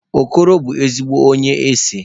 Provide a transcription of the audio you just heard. Okoro bu ezigbo onye ese